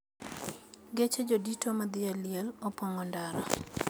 Geche jodito mathi e liel opong`o ndara